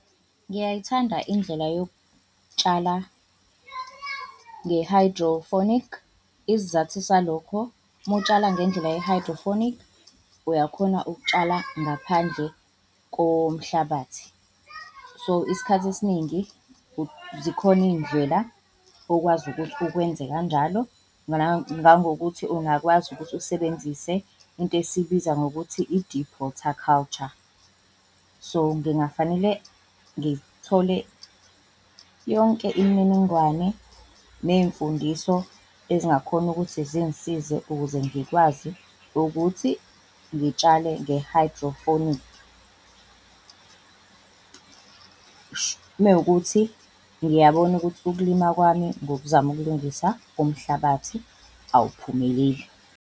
Ngiyayithanda indlela yokutshala nge-hydroponic. Isizathu salokho, mutshala ngendlela ye-hydroponic uyakhona ukutshala ngaphandle komhlabathi, so isikhathi esiningi zikhona iy'ndlela okwazi ukuthi ukwenze kanjalo ngangokuthi ungakwazi ukuthi usebenzise into esiyibiza ngokuthi i-deep water culture. So ngingafanele ngithole yonke imininingwane ney'mfundiso ezingakhona ukuthi zingisize ukuze ngikwazi ukuthi ngitshale nge-hydroponic, mewukuthi ngiyabona ukuthi ukulima kwami ngokuzama ukulungisa umhlabathi awuphumeleli.